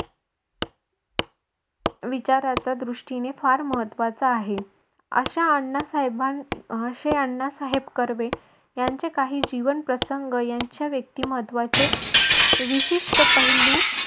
विचाराच्या दृष्टीने फार महत्वाचा आहे. अश्या अण्णा साहेबाना असे अण्णा साहेब कर्वे यांचे काही जीवन प्रसंग यांच्या व्यक्तिमत्त्वाचे विशिष्ट पैलू